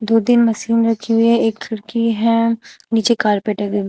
दो तीन मशीन रखी हुई है एक खिड़की है नीचे कारपेट